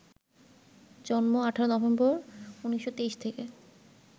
জন্ম ১৮ নভেম্বর, ১৯২৩ থেকে